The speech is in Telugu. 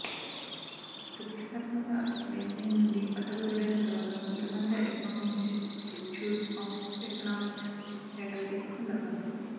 ప్రతిష్టాత్మక లైసియం నుండి పట్టభద్రుడైన తరువాత ఆమె ప్రపంచ economy institute of economics faculty కోసం దరఖాస్తు